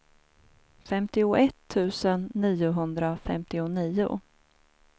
femtioett tusen niohundrafemtionio